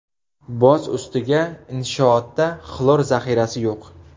Boz ustiga inshootda xlor zaxirasi yo‘q.